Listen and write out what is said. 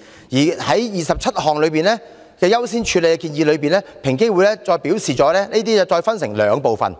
就這些優先建議，平機會再分為兩部分